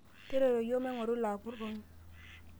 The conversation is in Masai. tareto iyiok maigoru ilo apurroni